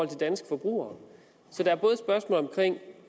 til danske forbrugere så der